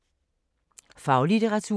Faglitteratur